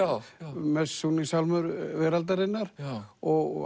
mest sungni sálmur veraldarinnar og